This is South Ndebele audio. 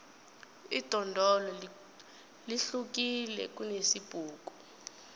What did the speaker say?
idondolo lihlukile kunesibhuku